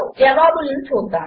జవాబులను చూద్దాము